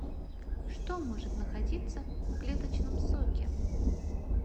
что может находиться в клеточном соке